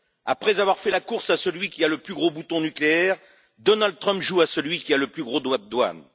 Après avoir fait la course à celui qui a le plus gros bouton nucléaire, Donald Trump joue à celui qui a les plus gros droits de douane.